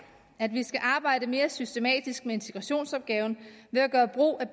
at vi skal arbejde mere systematisk med integrationsopgaven ved at gøre brug af